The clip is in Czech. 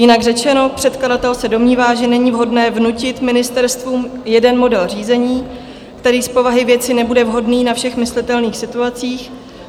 Jinak řečeno, předkladatel se domnívá, že není vhodné vnutit ministerstvům jeden model řízení, který z povahy věci nebude vhodný ve všech myslitelných situacích.